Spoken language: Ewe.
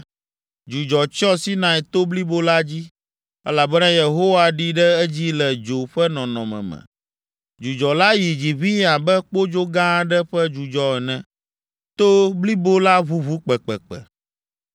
Dzudzɔ tsyɔ Sinai to blibo la dzi, elabena Yehowa ɖi ɖe edzi le dzo ƒe nɔnɔme me. Dzudzɔ la yi dzi ʋĩi abe kpodzo gã aɖe ƒe dzudzɔ ene. To blibo la ʋuʋu kpekpekpe.